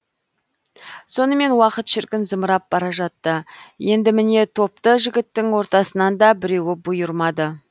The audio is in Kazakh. сонымен уақыт шіркін зымырап бара жатты енді міне топты жігіттің ортасынан да біреуі бұйырмады